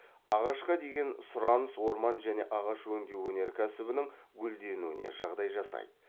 ағашқа деген сұраныс орман және ағаш өңдеу өнеркәсібінің гүлденуіне жағдай жасайды